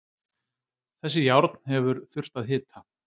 Þessi járn hefur þurft að hita.